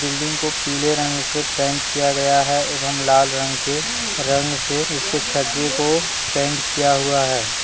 Building को पीले रंग से पेंट किया गया है एवं लाल रंग के रंग से इसके छज्जे को पेंट किया हुआ है।